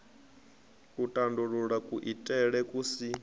u tandulula kuitele ku si